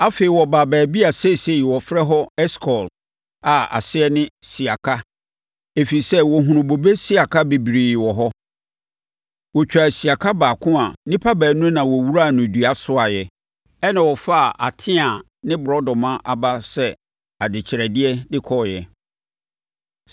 Afei, wɔbaa baabi a seesei wɔfrɛ hɔ “Eskol” a aseɛ ne “Siaka”, ɛfiri sɛ, wɔhunuu bobe siaka bebree wɔ hɔ! Wɔtwaa siaka baako a nnipa baanu na wɔwuraa no dua soaeɛ. Ɛnna wɔfaa ateaa ne borɔdɔma aba sɛ adekyerɛdeɛ de kɔeɛ.